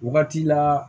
Wagati la